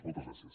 moltes gràcies